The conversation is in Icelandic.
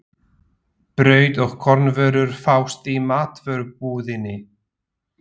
Brauð og kornvörur fást í matvörubúðinni.